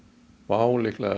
WOW liðlega